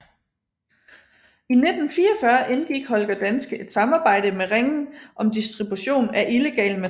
I 1944 indgik Holger Danske et samarbejde med Ringen om distribution af illegalt materiale